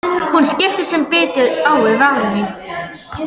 Hún skiptir sem betur fer um umræðuefni og spyr Svenna um systur hans.